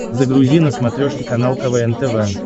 загрузи на смотрешке канал квн тв